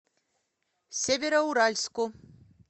североуральску